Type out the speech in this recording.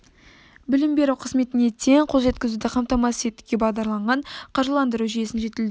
білім беру қызметіне тең қол жеткізуді қамтамасыз етуге бағдарланған қаржыландыру жүйесін жетілдіру